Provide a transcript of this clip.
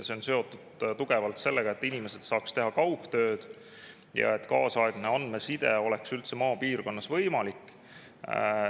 See on tugevalt seotud sellega, et inimesed saaks teha kaugtööd ja et kaasaegne andmeside oleks üldse maapiirkonnas võimalik.